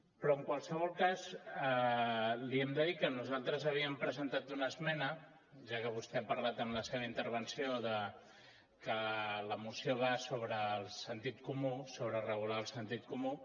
però en qualsevol cas li hem de dir que nosaltres havíem presentat una esmena ja que vostè ha parlat en la seva intervenció de que la moció va sobre el sentit comú sobre regular el sentit comú